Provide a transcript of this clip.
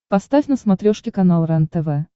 поставь на смотрешке канал рентв